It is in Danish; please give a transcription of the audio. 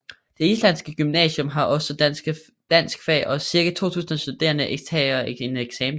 Det islandske gymnasium har også danskfag og cirka 2000 studerende tager en eksamen der